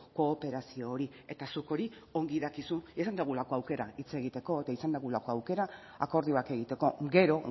kooperazio hori eta zuk hori ongi dakizu izan dugulako aukera hitz egiteko eta izan dugulako aukera akordioak egiteko gero